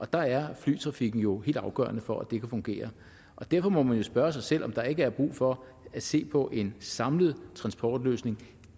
der er flytrafikken jo helt afgørende for at det kan fungere derfor må man jo spørge sig selv om der ikke er brug for at se på en samlet transportløsning